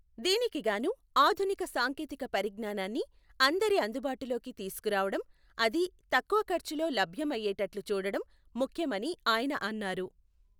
దీనికి గాను ఆధునిక సాంకేతిక పరిజ్ఞానాన్ని అందరి అందుబాటులోకి తీసుకు రావడం, అదీ తక్కువ ఖర్చులో లభ్యం అయ్యేటట్లు చూడడం ముఖ్యమని ఆయన అన్నారు.